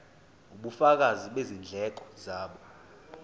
ubufakazi bezindleko zabo